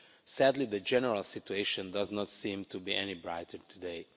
Sadly the general situation does not seem to be any brighter today.